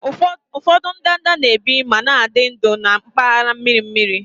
Ụfọdụ ndanda na-ebi ma na-adị ndụ na mpaghara mmiri mmiri